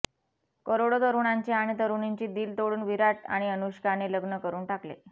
करोडो तरुणांचे आणि तरुणींची दिल तोडून विराट आणि अनुष्का ने लग्न करून टाकले